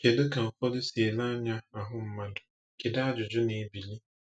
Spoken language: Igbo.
Kedu ka ụfọdụ si ele anya ahụ mmadụ, kedu ajụjụ na-ebili?